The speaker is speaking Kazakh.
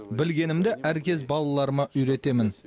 білгенімді әркез балаларыма үйретемін